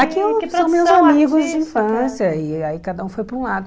Aqui são meus amigos de infância e aí cada um foi para um lado.